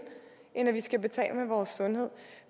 end at vi skal betale med vores sundhed